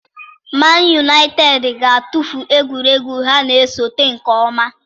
Man Utd ga-atụfu egwuregwu ha na-esote nke ọma.